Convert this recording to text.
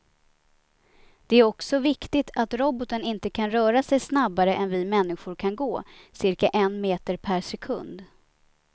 Det är också viktigt att roboten inte kan röra sig snabbare än vi människor kan gå, cirka en meter per sekund.